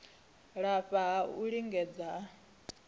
lafha ha u lingedza a